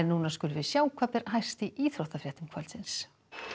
skulum við sjá hvað ber hæst í íþróttafréttum kvöldsins